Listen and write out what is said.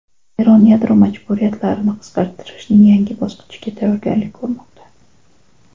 Eron yadro majburiyatlarini qisqartirishning yangi bosqichiga tayyorgarlik ko‘rmoqda.